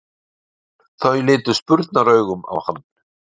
Þau litu spurnaraugum á hann.